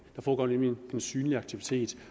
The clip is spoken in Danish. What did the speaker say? der foregår nemlig en synlig aktivitet